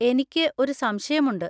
എനിക്ക് ഒരു സംശയമുണ്ട്.